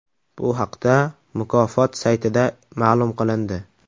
Bu haqda mukofot saytida ma’lum qilindi .